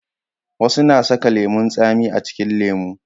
wasu na saka lemun tsami a cikin lemo